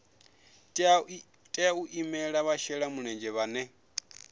tea u imela vhashelamulenzhe vhane